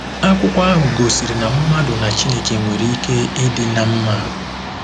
Akwụkwọ ahụ gosiri na mmadụ na Chineke nwere ike ịdị ná mma.